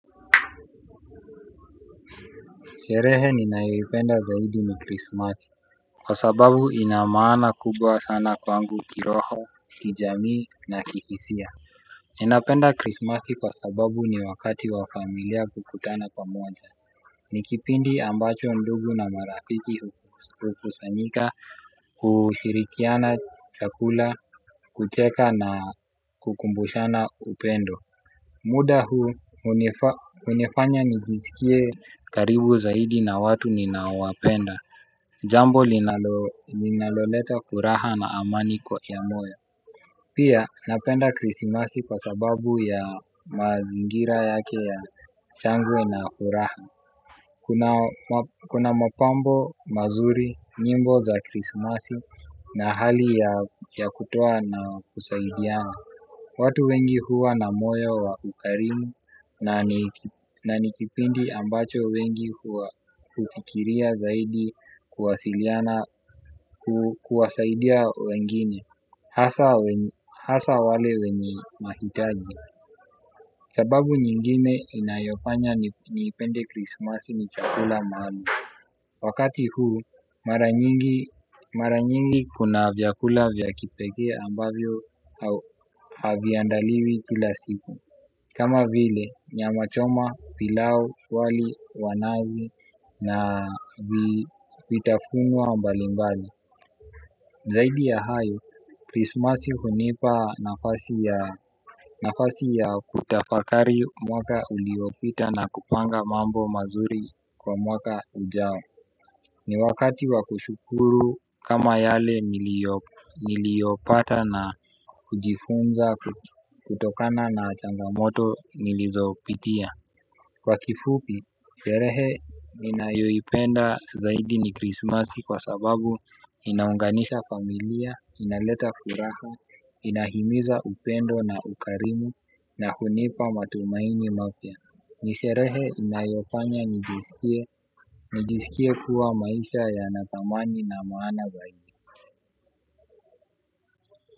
Sherehe ninayoipenda zaidi ni krisimasi kwa sababu ina maana kubwa sana kwangu kiroho, kijamii na kihisia. Ninapenda krismasi kwa sababu ni wakati wa familia kukutana pamoja. Ni kipindi ambacho ndugu na marafiki hukusanyika. Kushirikiana chakula, kucheka na kukumbushana upendo. Muda huu hunifanya nijisikie karibu zaidi na watu ninaowapenda. Jambo linaloleta furaha na amani kwa ya moyo. Pia napenda krisimasi kwa sababu ya mazingira yake ya shangwe na furaha. Kuna mapambo mazuri, nyimbo za krisimasi na hali ya kutoa na kusaidiana. Watu wengi huwa na moyo wa ukarimu na ni kipindi ambacho wengi huwa hufikiria zaidi kuwasaidia wengine. Hasa wale wenye mahitaji. Sababu nyingine inayofanya nipende Christmas ni chakula maalum. Wakati huu mara nyingi kuna vyakula vya kipekee ambavyo haviandaliwi kila siku. Kama vile nyamachoma, pilau, wali wa nazi na vitafunwa mbalimbali. Zaidi ya hayo krisimasi hunipa nafasi ya kutafakari mwaka uliopita na kupanga mambo mazuri kwa mwaka ujao. Ni wakati wa kushukuru kama yale niliyopata na kujifunza kutokana na changamoto nilizopitia. Kwa kifupi, sherehe ninayoipenda zaidi ni krisimasi kwa sababu inaunganisha familia, inaleta furaha, inahimiza upendo na ukarimu na hunipa matumaini mapya. Ni sherehe inayofanya nijisikie. Nijisikie kuwa maisha yana thamani na maana zaidi.